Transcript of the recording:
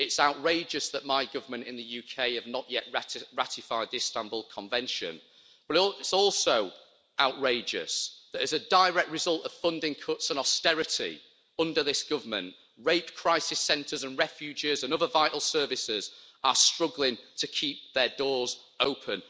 It's outrageous that my government in the UK has not yet ratified the Istanbul Convention, but it's also outrageous that as a direct result of funding cuts and austerity under this government, rape crisis centres and refuges and other vital services are struggling to keep their doors open.